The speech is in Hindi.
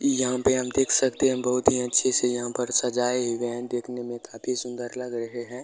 यहाँ पे आप देख सकते है बहुत ही अच्छे से यहाँ पे सजाइ हुए हैंदेखने में काफी सुंदर लग रहे हैं।